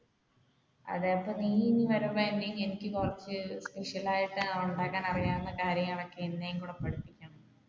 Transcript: അതെ നീ ഇനി വരുമ്പോൾ എനിക്ക് കുറച്ചു special ആയിട്ട് ഉണ്ടാക്കാൻ അറിയാവുന്ന കാര്യങ്ങൾ ഒക്കെ എന്നേം കൂടി പഠിപ്പിച്ചു